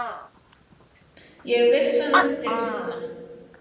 Ég vissi hann myndi guggna!